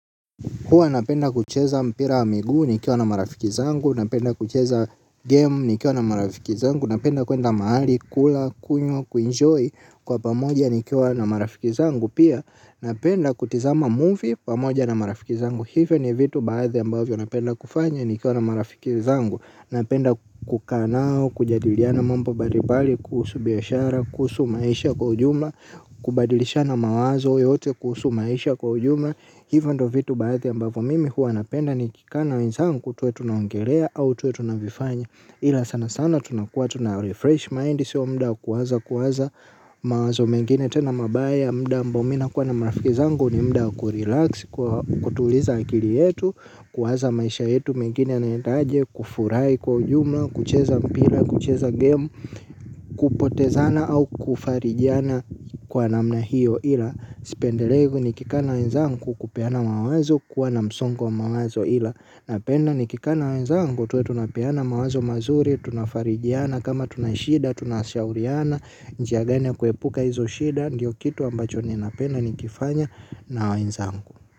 Huwa napenda kucheza mpira wa miguu nikiwa na marafiki zangu, napenda kucheza game nikiwa na marafiki zangu, napenda kwenda mahali kula, kunywa, kuenjoy kwa pamoja nikiwa na marafiki zangu pia napenda kutizama movie pamoja na marafiki zangu hivyo ni vitu baadhi ambavyo napenda kufanya nikiwa na marafiki zangu. Napenda kukaa nao, kujadiliana mambo mbalimbali kuhusu biashara, kuhusu maisha kwa ujumla, kubadilishana mawazo yote kuhusu maisha kwa ujumla hivyo ndiyo vitu baadhi ambavyo mimi huwa napenda nikikaa na wenzangu tuwe tunaongelea au tuwe tunavifanya ila sana sana tunakuwa tuna refresh mind, siyo muda wa kuwaza kuwaza mawazo mengine tena mabaya muda ambao mimi nakuwa na marafiki zangu ni muda wa kurelax kuwa kutuliza akili yetu kuwaza maisha yetu mengine yanaenda aje kufurahi kwa ujumla kucheza mpira kucheza game. Kupotezana au kufarijiana kwa namna hiyo ila sipendelei nikikaa na wenzangu kupeana mawazo kuwa na msongo wa mawazo ila napenda nikikaa na wenzangu tuwe tunapeana mawazo mazuri tunafarijana kama tuna shida tunashauriana. Njia gani ya kuepuka hizo shida ndiyo kitu ambacho ninapenda nikifanya na wenzangu.